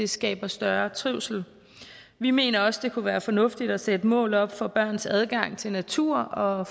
skaber større trivsel vi mener også at det kunne være fornuftigt at sætte mål op for børns adgang til natur og